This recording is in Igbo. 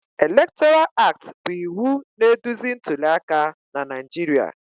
Electoral Act bụ iwu na-eduzi ntuli aka na Naijiria